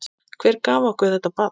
Hver gaf okkur þetta barn?